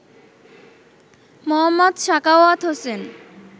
Md. Sakhawat Hossain